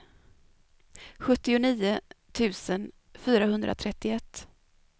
sjuttionio tusen fyrahundratrettioett